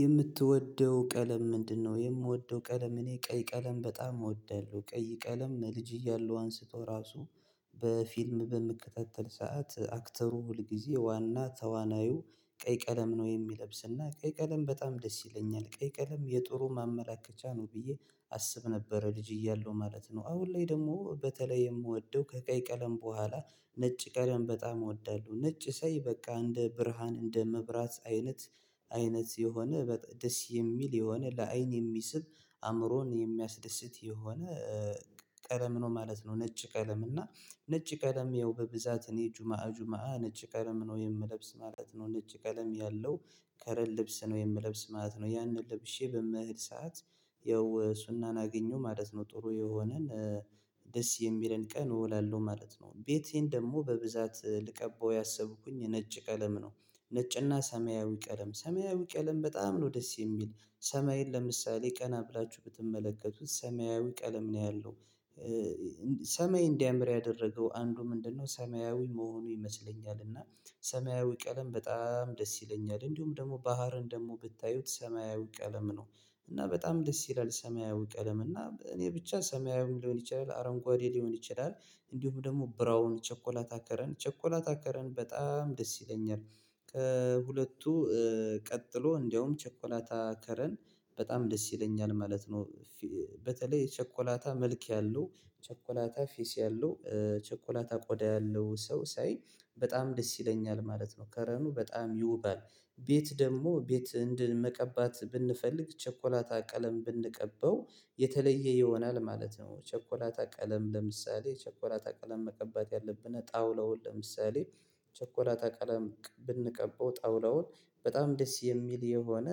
የምትወደው ቀለም ምንድነው? የምወደው ቀለም እኔ ቀይ ቀለም በጣም እወዳለሁ ቀይ ቀለም ልጅ እያለሁ አንስቶ ራሱ በፊልም በምከታተል ሰዓት አክተሩ ሁልጊዜ ዋና ተዋናዩ ቀይ ቀለም ነው የሚለብስና ቀይ ቀለም በጣም ደስ ይለኛል ቀይ ቀለም የጥሩ ማመላከቻ ነው። ብዬ አስብ ነበር ልጅ እያለሁ ማለት ነው። አሁን ላይ ደግሞ በተለይ የምወደው ከቀይ ቀለም በኋላ ነጭ ቀለም በጣም እወዳለሁ። ነጭ ሳይ በቃ እንደ ብርሃን እንደ መብራት አይነት አይነት የሆነ ደስ የሚል የሆነ ለአይን የሚስብ አእምሮን የሚያስደስት የሆነ ቀለም ነው ማለት ነው። ነጭ ቀለም እና ነጭ ቀለም ያው በብዛት እኔ ጁማ ጁማ ነጭ ቀለም ነው የምለብስ ማለት ነው። ነጭ ቀለም ያለው ከረን ልብስ ነው የምለብስ ማለት ነው። ያንን ለብሼ በመሄድ ሰዓት ያው ሱናን አገኘሁ ማለት ነው። ጥሩ የሆነን ደስ የሚለን ቀን እወላለሁ ማለት ነው። ቤቴን ደግሞ በብዛት ልቀበው ያሰብኩኝ የነጭ ቀለም ነው። ነጭና ሰማያዊ ቀለም ሰማያዊ ቀለም በጣም ነው ደስ የሚል። ሰማይን ለምሳሌ ቀና ብላችሁ ብትመለከቱት ሰማያዊ ቀለም ነው ያለው ሰማይ እንዲያምር ያደረገው አንዱ ምንድነው ሰማያዊ መሆኑ ይመስለኛል እና። ሰማያዊ ቀለም በጣም ደስ ይለኛል እንዲሁም ደግሞ ባህርን ደግሞ ብታዩት ሰማያዊ ቀለም ነው። እና በጣም ደስ ይላል ሰማያዊ ቀለም እና እኔ ብቻ ሰማያዊ ሊሆን ይችላል አረንጓዴ ሊሆን ይችላል። እንዲሁም ደግሞ ብራውን ቸኮላታ ከለር ቸኮላታ ከለር በጣም ደስ ይለኛል። ከሁለቱ ቀጥሎ እንደውም ቸኮላታ ከለር በጣም ደስ ይለኛል ማለት ነው። በተለይ ቸኮላታ መልክ ያለው ቸኮላታ ፊስ ያለው ቸኮላታ ቆዳ ያለው ሰው ሳይ በጣም ደስ ይለኛል ማለት ነው። ከለሩ በጣም ይውባል። ቤት ደግሞ ቤት እንድን መቀባት ብንፈልግ ቸኮላታ ቀለም ብንቀበው የተለየ ይሆናል ማለት ነው። ቸኮላታ ቀለም ለምሳሌ ቸኮላታ ቀለም መቀባት ያለብን ጣውላውን ለምሳሌ ቸኮላታ ቀለም ብንቀባው ጣውላውን በጣም ደስ የሚል የሆነ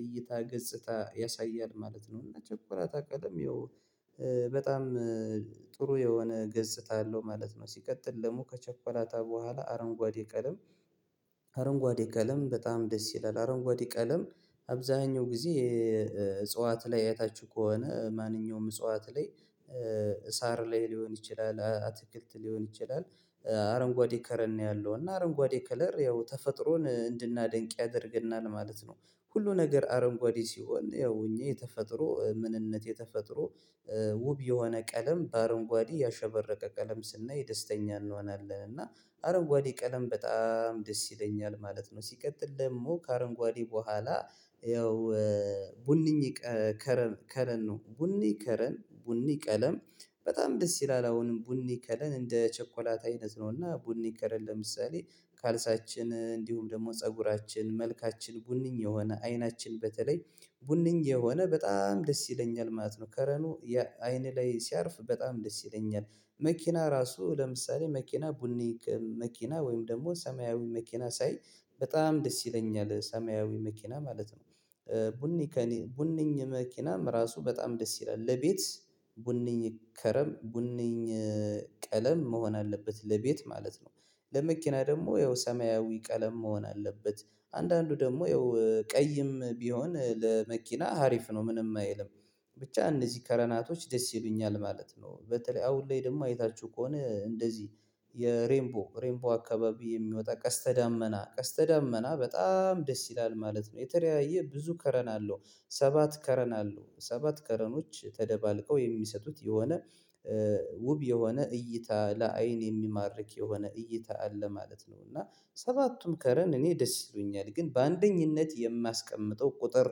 እይታ ገጽታ ያሳያል ማለት ነው። እና ችኮላታ ቀለም ያው በጣም ጥሩ የሆነ ገጽታ አለው ማለት ነው። ሲቀጥል ደግሞ ከቸኮላታ በኋላ አረንጓዴ ቀለም አረንጓዴ ቀለም በጣም ደስ ይላል አረንጓዴ ቀለም። አብዛኛው ጊዜ እጽዋት ላይ አያታችሁ ከሆነ ማንኛውም እጽዋት ላይ ሳር ላይ ሊሆን ይችላል አትክልት ሊሆን ይችላል። አረንጓዴ ከለር ነው ያለው እና አረንጓዴ ከለር ያው ተፈጥሮን እንድናደንቅ ያደርገናል ማለት ነው። ሁሉ ነገር አረንጓዴ ሲሆን ያው እኛ የተፈጥሮ ምንነት የተፈጥሮ ውብ የሆነ ቀለም በአረንጓዴ ያሸበረቀ ቀለም ስናይ ደስተኛ እንሆናለን እና አረንጓዴ ቀለም በጣም ደስ ይለኛል ማለት ነው። ሲቀጥል ደግሞ ከአረንጓዴ በኋላ። ያው ቡኒ ከለር ነው ቡኒ ከለር ቡኒ ቀለም በጣም ደስ ይላል አሁንም ቡኒ ከለር እንደ ቸኮላት አይነት ነውና ቡኒ ከለር ለምሳሌ ካልሳችን እንዲሁም ደግሞ ፀጉራችን መልካችን ቡኒኝ የሆነ አይናችን በተለይ ቡነኝ የሆነ በጣም ደስ ይለኛል ማለት ነው። ከለሩ ያ አይን ላይ ሲያርፍ በጣም ደስ ይለኛል። መኪና ራሱ ለምሳሌ መኪና ቡኒ መኪና ወይም ደግሞ ሰማያዊ መኪና ሳይ በጣም ደስ ይለኛል ሰማያዊ መኪና ማለት ነው። ቡኒ ከእኔ ቡኒኝ መኪናም ራሱ በጣም ደስ ይላል ለቤት ቡነኝ ከለር ቡንኝ ቀለም መሆን አለበት ለቤት ማለት ነው። ለመኪና ደግሞ ያው ሰማያዊ ቀለም መሆን አለበት። አንዳንዱ ደግሞ ያው ቀይም ቢሆን ለመኪና ሀሪፍ ነው ምንም አይልም። ብቻ እነዚህ ከረናቶች ደስ ይሉኛል ማለት ነው። በተለይ አሁን ላይ ደግሞ አይታችሁ ከሆነ እንደዚህ የሬምቦ ሬምቦ አካባቢ የሚወጣ ቀስተ ዳመና ቀስተ ዳመና በጣም ደስ ይላል ማለት ነው የተለያየ ብዙ ከለም አለው። ሰባት ከለር አለው ሰባት ከለሮች ተደባልቀው የሚሰጡት የሆነ ውብ የሆነ እይታ ለአይን የሚማርክ የሆነ እይታ አለ ማለት ነው። እና ሰባቱም ከለር እኔ ደስ ይሉኛል ግን በአንደኝነት የማስቀምጠው ቁጥር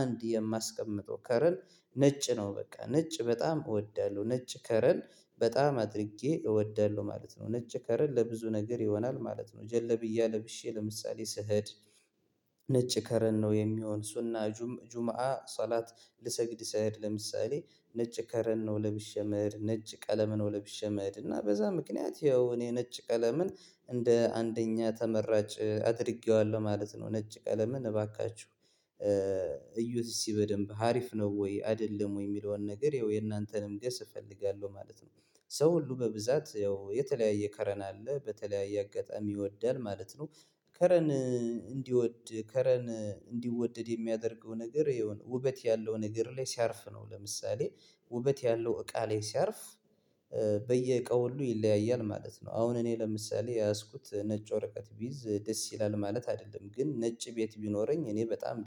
አንድ የማስቀምጠው ከለር ነጭ ነው በቃ ነጭ በጣም እወዳለሁ ነጭ ከለር። በጣም አድርጌ እወዳለሁ ማለት ነው ነጭ ከለር ለብዙ ነገር ይሆናል ማለት ነው። ጀልብያ ለብሼ ለምሳሌ ስሄድ ስህድ ነጭ ከለር ነው የሚሆን ሱና ጁምአ ሰላት ልሰግድ ስህድ ለምሳሌ ነጭ ከለር ነው ለብሸ እምሄድ ነጭ ቀለም ነው ለብሸ እምሄድ እና በዛ ምክንያት ያው እኔ ነጭ ቀለምን እንደ አንደኛ ተመራጭ አድርጌዋለሁ ማለት ነው። ነጭ ቀለምን እባካችሁ በደንብ ሀሪፍ ነው ወይ አይደለም ወይ የሚለውን ነገር ይኸው የእናንተንም ገስ እፈልጋለሁ ማለት ነው። ሰው ሁሉ በብዛት ያው የተለያየ ከለር አለ በተለያየ አጋጣሚ ይወዳል ማለት ነው። ከለር እንዲወድ ከለር እንዲወደድ የሚያደርገው ነገር ያው ውበት ያለው ነገር ላይ ሲያርፍ ነው። ለምሳሌ ውበት ያለው እቃ ላይ ሲያርፍ በየእቃው ሁሉ ይለያያል ማለት ነው። አሁን እኔ ለምሳሌ የያዝኩት ነጭ ወረቀት ቢይዝ ደስ ይላል ማለት አይደለም ግን ነጭ ቤት ቢኖረኝ እኔ በጣም